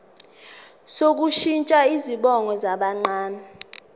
sokushintsha izibongo zabancane